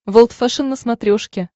волд фэшен на смотрешке